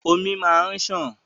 Omi máa n ṣàn.